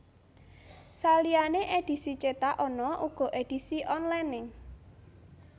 Saliyane edhisi cetak ana uga edisi onlinene